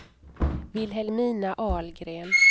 Vilhelmina Ahlgren